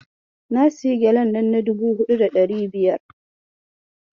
Na sayi gyalen nan na dubu huɗu da ɗari biyar.